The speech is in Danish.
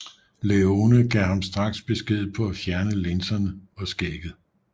Leone gav ham straks besked på at fjerne linserne og skægget